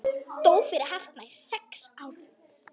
Dó fyrir hartnær sex árum.